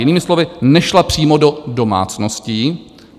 Jinými slovy nešla přímo do domácností.